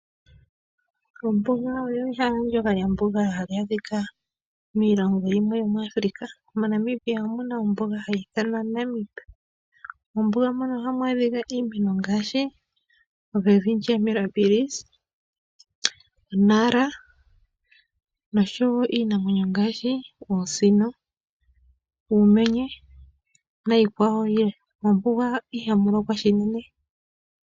Ombuga olyo ehala ndoka lya mbugala hali adhika miilongo yimwe yo muAfrica. MoNamibia omuna ombuga hayi ithanwa Namib, mombuga mono ohamu adhika iimeno ngaashi Welwitschia merabilis, !Nara noshowo iinamwenyo ngaashi oosino, uumenye nayi kwawo yilwe. Mombuga ihamu lokwa shinene.